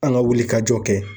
An ka wuli ka jɔ kɛ